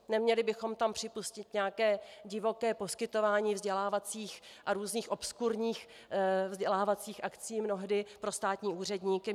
Neměli bychom tam připustit nějaké divoké poskytování vzdělávacích a různých obskurních vzdělávacích akcí mnohdy pro státní úředníky.